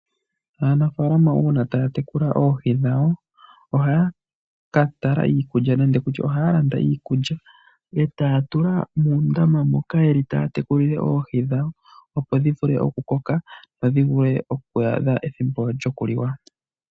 Aanafalama uuna taya tekula oohi dhawo ohaya landa iikulya etaya tula muundama moka yeli taya tekulile oohi dhawo opo dhi vule oku koka dho dhi vule oku adha ethimbo lyoku liwa.